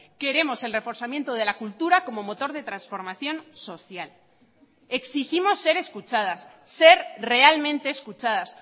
queremos el reforzamiento de la cultura como motor de transformación social exigimos ser escuchadas ser realmente escuchadas